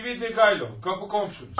Svidrigaylov, qapı komşunuz.